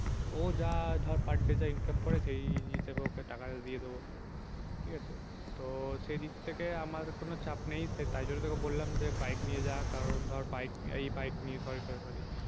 ও যা ধর per day যা income করে সেই হিসাবে ওকে টাকাটা দিয়ে দেবো ঠিক আছে। তো সেদিন থেকে আমার কোনো চাপ নেই তাই জন্য তোকে বললাম যে bike নিয়ে যা কারণ ধর bike এই bike নিয়ে sorry sorry sorry